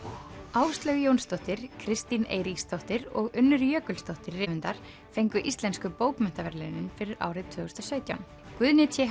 Áslaug Jónsdóttir Kristín Eiríksdóttir og Unnur Jökulsdóttir rithöfundar fengu Íslensku bókmenntaverðlaunin fyrir árið tvö þúsund og sautján Guðni t